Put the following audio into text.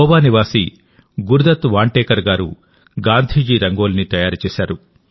గోవా నివాసి గురుదత్ వాంటెకర్ గారు గాంధీజీ రంగోలీని తయారుచేశారు